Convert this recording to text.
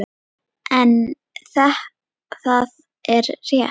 En það er rétt.